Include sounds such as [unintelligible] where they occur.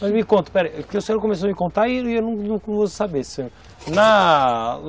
Mas me conta, pera, porque o senhor começou a me contar e [unintelligible] eu não vou saber, senhor.